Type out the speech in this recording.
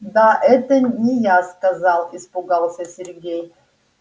да это не я сказал испугался сергей